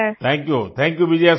thank you thank you Vijaya Shanti